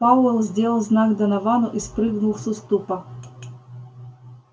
пауэлл сделал знак доновану и спрыгнул с уступа